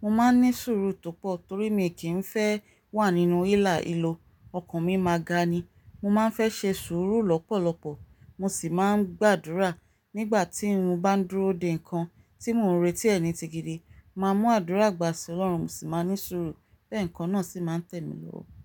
mo máa ní sùúrù tó pọ̀ torí mi kì í fẹ́ wà nínú hílàhílo. Ọkàn mi máa ga ni. Mo máa ń fẹ́ ṣe sùúrù lọ́pọ̀lọpọ̀ mo sì máa ń gbàdúrà nígbà tí mo bá ń dúró de nǹkan tí mò ń retí ẹni tigidi, màá mú àdúrà gbà sí Ọlọ́run mo sì máa ní sùúrù pé nǹkan náà sì máa tẹ̀ mí lọ́wọ́